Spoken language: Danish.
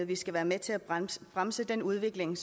vi skal være med til at bremse bremse den udvikling